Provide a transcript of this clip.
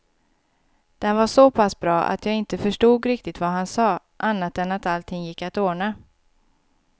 Den var såpass bra att jag inte förstod riktigt vad han sa, annat än att allting gick att ordna.